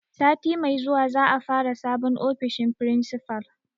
Sati mai zuwa za a fara sabon ofishin principal.